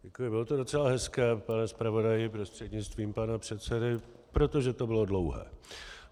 Děkuji, bylo to docela hezké, pane zpravodaji prostřednictvím pana předsedy, protože to bylo dlouhé.